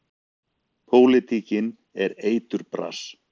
Pólitíkin er eiturbras.